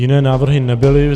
Jiné návrhy nebyly.